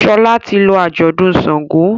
Shola tí lọ ajọdun ṣàngó.